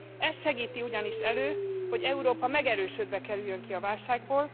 Ez segíti ugyanis elő, hogy Európa megerősödve kerüljön ki a válságból.